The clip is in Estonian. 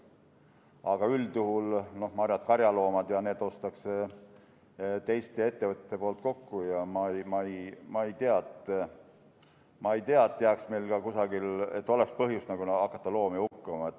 Aga üldjuhul, ma arvan, et karjaloomad ostetakse teiste ettevõtete poolt kokku ja ma ei usu, et oleks põhjust hakata loomi hukkama.